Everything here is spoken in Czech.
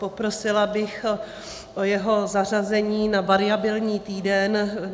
Poprosila bych o jeho zařazení na variabilní týden.